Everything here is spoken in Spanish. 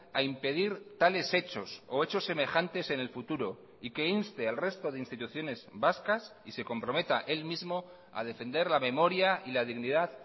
a impedir tales hechos o hechos semejantes en el futuro y que inste al resto de instituciones vascas y se comprometa él mismo a defender la memoria y la dignidad